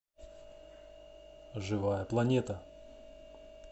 живая планета